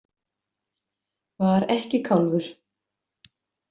Var ekki kálfur.